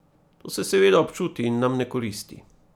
To se seveda občuti in nam ne koristi.